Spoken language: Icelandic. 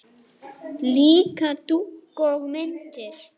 Líka dúka og myndir.